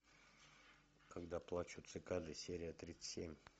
когда плачут цикады серия тридцать семь